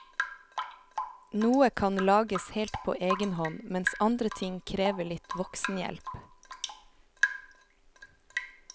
Noe kan lages helt på egen hånd, mens andre ting krever litt voksenhjelp.